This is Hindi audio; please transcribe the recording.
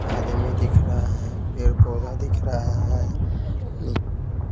आदमी दिख रहा है पेड़ पौधा दिख रहा है।